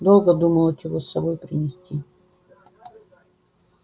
долго думала чего с собой принести